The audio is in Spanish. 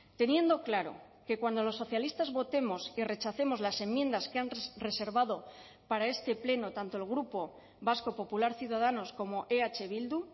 teniendo claro que cuando los socialistas votemos y rechacemos las enmiendas que han reservado para este pleno tanto el grupo vasco popular ciudadanos como eh bildu